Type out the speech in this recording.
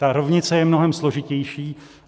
Ta rovnice je mnohem složitější.